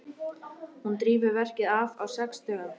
Hún drífur verkið af á sex dögum.